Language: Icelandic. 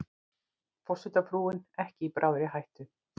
Forsetafrúin ekki í bráðri hættu